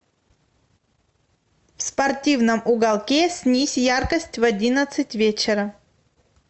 в спортивном уголке снизь яркость в одиннадцать вечера